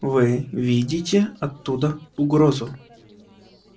вы видите оттуда угрозу